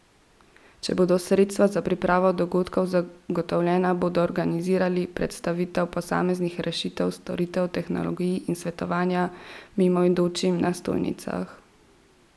Če bodo sredstva za pripravo dogodkov zagotovljena, bodo organizirali predstavitev posameznih rešitev, storitev, tehnologij in svetovanje mimoidočim na stojnicah.